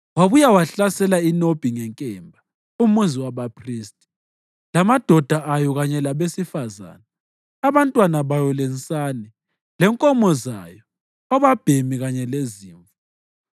Wabuye wahlasela iNobhi ngenkemba, umuzi wabaphristi, lamadoda ayo kanye labesifazane, abantwana bayo lensane, lenkomo zayo, obabhemi kanye lezimvu.